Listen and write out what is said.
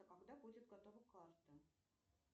а когда будет готова карта